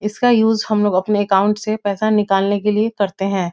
इसका यूज़ हम लोग अपने अकाउंट से पैसा निकालने के लिए करते हैं।